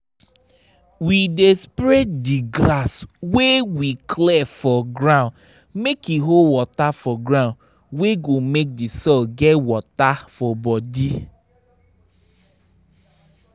we dey spread them grass wey we clear for ground make e hold water for ground wey go make the soil get water for body